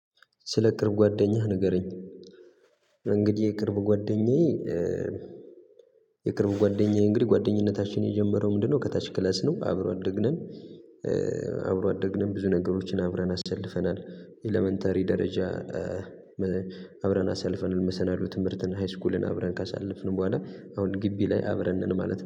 ስለ ቅርብ ጓደኛህ ንገረኝ እንግዲህ የቅርብ ጓደኛዬ የቅርብ ጓደኛዬ እንግዲህ ጓደኝነታችን የጀመረው ምንድነው? ከታች ክላስ ነው አብሮ አደግነን። አብሮ አደግነን ብዙ ነገሮችን አብረን አሳልፈናል ኤለመንተሪ ደረጃ። አብረን አሳልፈናል መሰናዶ ትምህርትን ሃይስኩልን አብረን ካሳለፍን በኋላ አሁን ግቢ ላይ አብረን ነን ማለት ነው